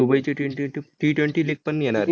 दुबईची Ttwenty league पण येणार.